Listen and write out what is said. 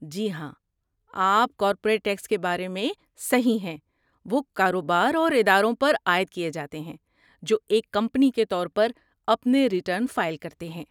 جی ہاں، آپ corporate tax کے بارے میں صحیح ہیں، وہ کاروبار اور اداروں پر عائد کیے جاتے ہیں جو ایک کمپنی کے طور پر اپنے ریٹرن فائل کرتے ہیں.